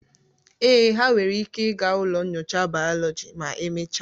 Ee, ha nwere ike ịga ụlọ nyocha bayoloji ma emechaa